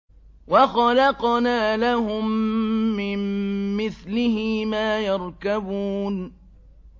وَخَلَقْنَا لَهُم مِّن مِّثْلِهِ مَا يَرْكَبُونَ